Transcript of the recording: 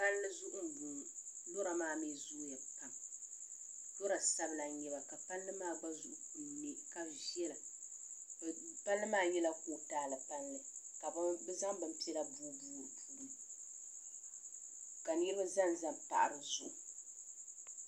palli zuɣu m-bɔŋɔ lɔra maa mi zooi ya pam lɔra sabila ka palli maa gba zuɣu kuli ne ka viɛla palli maa nyɛla kootaali palli ka bɛ zaŋ bin' piɛla boi boi li ka niriba za za pahi bɛ zuɣu.